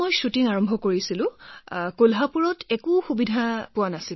shooting আৰম্ভ কৰাৰ সময়ত কলহাপুৰত ইমান সুবিধা নাছিল